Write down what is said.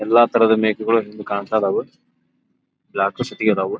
ಎಲ್ಲಾ ತರಹದ ಮೇಕೆಗಳು ಇಲ್ಲಿ ಕಾಣ್ ತದವು ಬ್ಲಾಕ್ .]